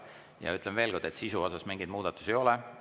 Ja ütlen veel kord, et sisus mingeid muudatusi ei ole.